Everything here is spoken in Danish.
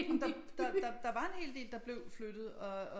Der var en hel del der blev flyttet og